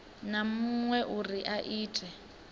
na muṅwe uri a ite